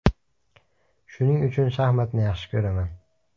Shuning uchun shaxmatni yaxshi ko‘raman.